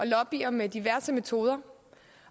lobbyer med diverse metoder